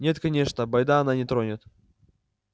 нет конечно бойда она не тронет